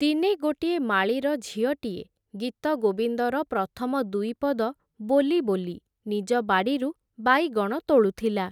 ଦିନେ ଗୋଟିଏ ମାଳୀର, ଝିଅଟିଏ ଗୀତଗୋବିନ୍ଦର ପ୍ରଥମ ଦୁଇପଦ ବୋଲି, ବୋଲି ନିଜ ବାଡ଼ିରୁ ବାଇଗଣ ତୋଳୁଥିଲା ।